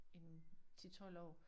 En 10 12 år